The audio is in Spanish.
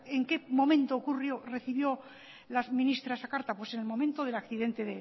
en qué momento ocurrió recibió la ministra esa carta pues en el momento del accidente